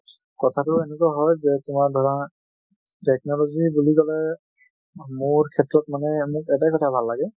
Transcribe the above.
কথাতো এনেকুৱা হয়, যে তোমাৰ ধৰা technology বুলি কলে মোৰ ক্ষেত্ৰত মানে মোৰ এটায়ে কথা ভাল লাগে